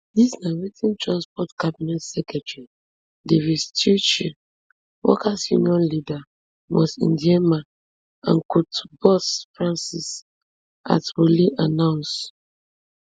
dis na wetin transport cabinet secretary davis chirchir workers union leader moss ndiema and cotu boss francis atwoli announce